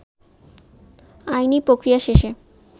আইনী প্রক্রিয়া শেষে